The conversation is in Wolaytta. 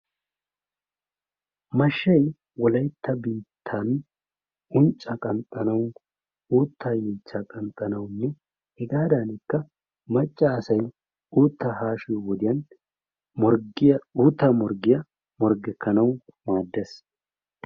Mashshay wolaytta biittan unccaa qanxxanawu uuttaa yeechchaa kanxxanawunne hegaadankka macca asay uuttaa haashshiyoo wodiyaan morggiyaa uuttaa morggiyaa morggekanawu maaddees.